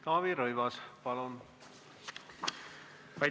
Taavi Rõivas, palun!